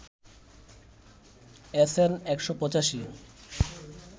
SN ১৮৫